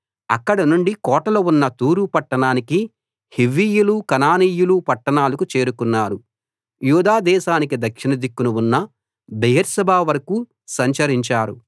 అక్కడ నుండి కోటలు ఉన్న తూరు పట్టణానికీ హివ్వీయుల కనానీయుల పట్టణాలకూ చేరుకున్నారు యూదా దేశానికి దక్షిణ దిక్కున ఉన్న బెయేర్షెబా వరకూ సంచరించారు